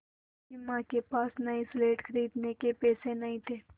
उसकी माँ के पास नई स्लेट खरीदने के पैसे नहीं थे